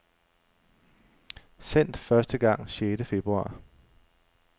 Sendt første gang sjette februar.